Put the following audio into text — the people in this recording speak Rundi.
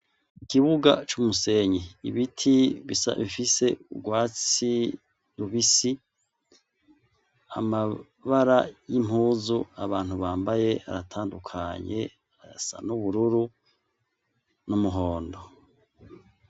Ikibuga c'umusenyi ibiti bisabifise urwasi rubisi amabara y'impuzu abantu bambaye aratandukanye arasa n'ubururu n'umuhondo.